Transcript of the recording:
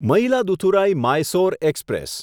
Mayiladuthurai Mysore express